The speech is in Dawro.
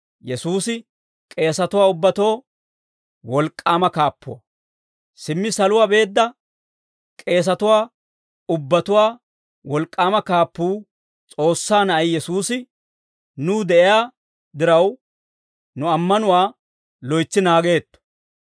Simmi saluwaa beedda, k'eesatuwaa ubbatuwaa wolk'k'aama kaappuu, S'oossaa Na'ay Yesuusi, nuw de'iyaa diraw, nu ammanuwaa loytsi naageetto.